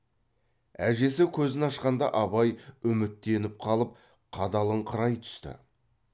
әжесі көзін ашқанда абай үміттеніп қалып қадалыңқырай түсті